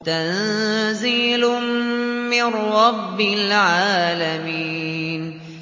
تَنزِيلٌ مِّن رَّبِّ الْعَالَمِينَ